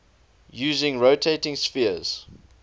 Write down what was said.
using rotating spheres